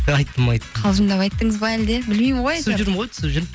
айттым айттым қалжыңдап айттыңыз ба әлде білмеймін ғой түсіп жүрмін ғой түсіп жүрмін